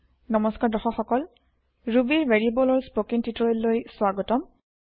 নমস্কাৰ দৰ্শক সকল ৰুবী ৰ ভেৰিয়েব্লচৰ স্পৌকেন টিওটৰিয়েল লৈ স্ৱাগতম